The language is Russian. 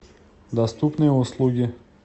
доступные услуги